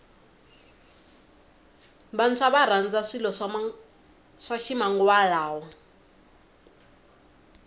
vantshwa varandza swilo swa ximanguva lawa